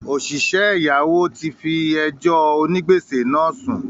“Òsìsẹ́ ẹ̀yáwó” ti fi “ onígbèsè ” náà sùn